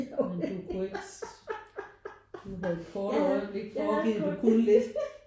Men du kunne ikke du havde et kort øjeblik forgivet du kunne lidt